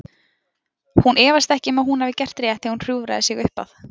Hún efast ekki um að hún hafi gert rétt þegar hún hjúfrar sig upp að